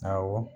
Awɔ